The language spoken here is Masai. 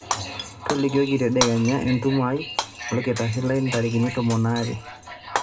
tolikioki tadekenya entumoto aai olkitari lai ntarikini tomon aare